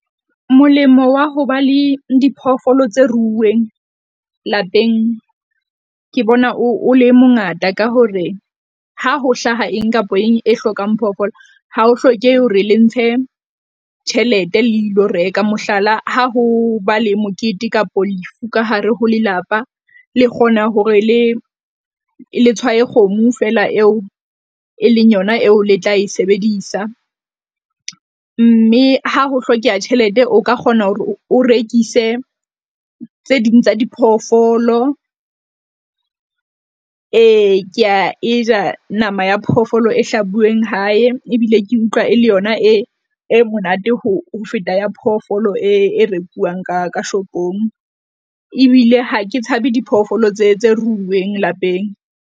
Molemo wa ho ba le diphoofolo tse ruuweng lapeng, ke bona o, o le mongata ka hore ha ho hlaha eng kapa eng e hlokang phoofolo. Ha ho hlokehe hore le ntshe tjhelete le ilo reka. Mohlala, ha ho ba le mokete kapo lefu ka hare ho lelapa le kgona hore le le tshwae kgomo feela eo e leng yona eo le tla e sebedisa. Mme ha ho hlokeha tjhelete, o ka kgona hore o rekise tse ding tsa diphoofolo. Ee ke a e ja nama ya phoofolo e hlabuweng hae, ebile ke utlwa e le yona e, e monate ho feta ya phoofolo e, e rekuwang ka shopong. Ebile ha ke tshabe diphoofolo tse tse ruuweng lapeng.